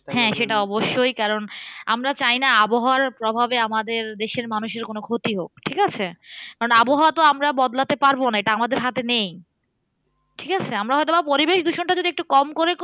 হ্যাঁ সেটা অবশ্যই কারণ আমরা চাই না আবহাওয়ার প্রভাবে আমাদের দেশের মানুষের কোনো ক্ষতি হোক, ঠিকাছে? কারণ আবহাওয়া তো আমরা বদলাতে পারবো না এটা আমাদের হাতে নেই। ঠিকাছে? আমরা হয়তো পরিবেশ দূষণটা যদি একটু কম করে করি